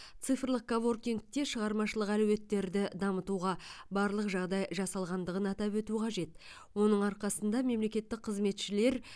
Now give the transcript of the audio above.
цифрлық коворкингте шығармашылық әлеуеттерді дамытуға барлық жағдай жасалғандығын атап өту қажет оның арқасында мемлекеттік қызметшілер